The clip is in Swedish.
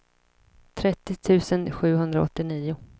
trettio tusen sjuhundraåttionio